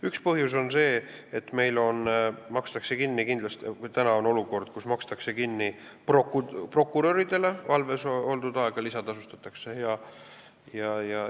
Üks põhjus on see, et meil on olukord, kus prokuröridele valves oldud aja eest makstakse lisatasu.